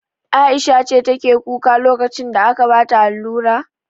Aisha ce take kuka lokacin da ake bata allura?